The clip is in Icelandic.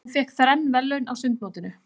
Hún fékk þrenn verðlaun á sundmótinu.